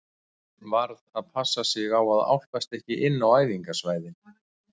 Maður varð bara að passa sig á að álpast ekki inn á æfingasvæðin.